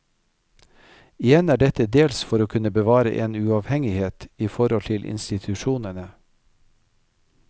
Igjen er dette dels for å kunne bevare en uavhengighet i forhold til institusjonene.